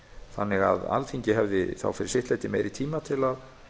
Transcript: þannig að alþingi hefði þá fyrir sitt leyti meiri tíma til að